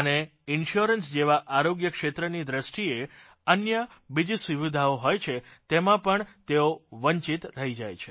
અને ઇન્શ્યોરન્સ જેવા આરોગ્ય ક્ષેત્રની દ્રષ્ટિએ અન્ય બીજી સુવિધાઓ હોય છે તેમાં પણ તેઓ વંચિત રહી જાય છે